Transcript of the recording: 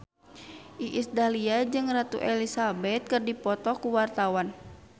Iis Dahlia jeung Ratu Elizabeth keur dipoto ku wartawan